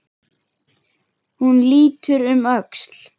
Hún lítur um öxl.